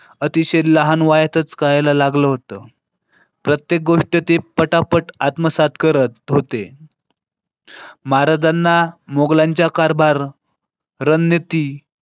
अतिशय लहान वयातच कळायला लागलं होतं. प्रत्येक गोष्टी ते फटाफट आत्मसात करत होते. महाराजांना मोगलांच्या कारभार रणनीती.